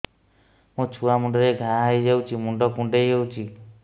ମୋ ଛୁଆ ମୁଣ୍ଡରେ ଘାଆ ହୋଇଯାଇଛି ମୁଣ୍ଡ କୁଣ୍ଡେଇ ହେଉଛି